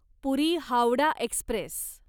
पुरी Howrah Express